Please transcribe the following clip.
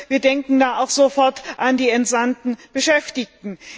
Wir denken da sofort an die entsandten Beschäftigten.